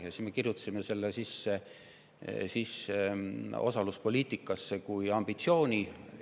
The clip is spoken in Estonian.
Ja siis me kirjutasimegi selle osaluspoliitikasse sisse kui ambitsiooni.